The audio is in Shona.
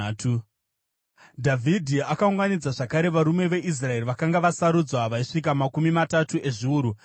Dhavhidhi akaunganidza zvakare varume veIsraeri vakanga vasarudzwa, vaisvika makumi matatu ezviuru.